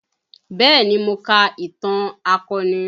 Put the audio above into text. Bẹẹ ni, mo ka ìtàn akọni